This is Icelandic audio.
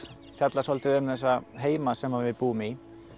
fjallar svolítið um þessa heima sem við búum í